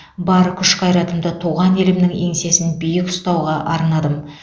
бар күш қайратымды туған елімнің еңсесін биік ұстауға арнадым